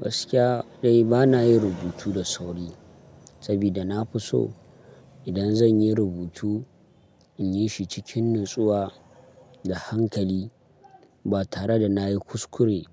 Gaskiya dai bana yin rubutu da sauri saboda na fi so idan zan yi rubutu in yi shi cikin natsuwa da hankali ba tare da na yi kuskure